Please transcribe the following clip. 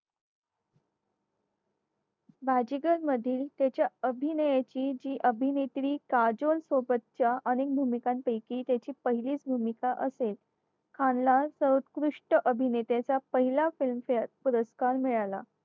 बाजीगरमधील त्याच्या अभिनयाची जी अभिनेत्री काजल सोबत च्या अनेक भूमिकांपैकी त्याची पहिलीच भूमिका असेल खानला सर्वोत्कृष्ट अभिनेत्याचा पहिला filmfare पुरस्कार मिळाला.